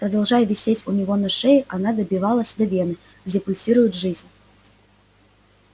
продолжая висеть у него на шее она добивалась до вены где пульсирует жизнь